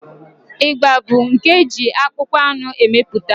Ịgba bụ nke eji akpụkpọ anụ emepụta.